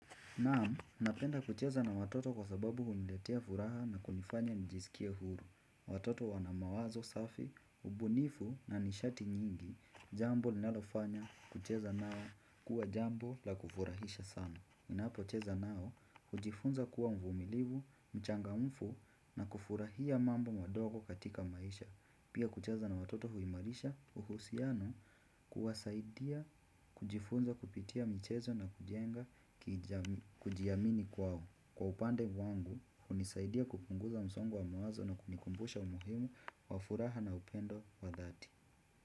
Naam, napenda kucheza na watoto kwa sababu huniletea furaha na kunifanya nijisikie huru. Watoto wana mawazo safi, ubunifu na nishati nyingi, jambo linalofanya kucheza nao kuwa jambo la kufurahisha sana. Ninapocheza nao, hujifunza kuwa mvumilivu, mchangamfu na kufurahia mambo madogo katika maisha. Pia kucheza na watoto huimarisha uhusiano, kuwasaidia kujifunza kupitia michezo na kujenga kujiamini kwao. Kwa upande wangu, hunisaidia kupunguza msongo wa mawazo na kunikumbusha umuhimu wa furaha na upendo wa dhati.